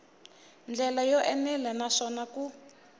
ndlela yo enela naswona ku